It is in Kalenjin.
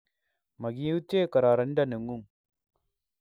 Magiutye kororonindo nengung